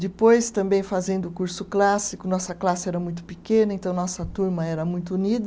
Depois, também fazendo o curso clássico, nossa classe era muito pequena, então nossa turma era muito unida.